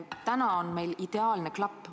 Täna on meil ideaalne klapp.